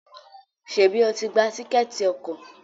Ṣebi o tí gbà Tíkẹ́ẹ̀tì ọkọ̀?